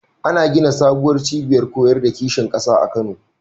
Ana gina sabuwar cibiyar koyar da kishin ƙasa a Kano.